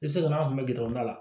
I bɛ se ka n'an kun bɛ gɛrɛ a la